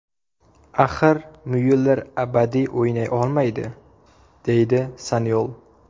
Axir Myuller abadiy o‘ynay olmaydi”, deydi Sanyol.